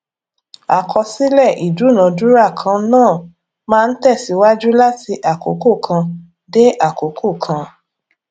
àkọsílẹ ìdúnadúrà kan náà máa ń tẹsíwájú láti àkókò kan dé àkókò kan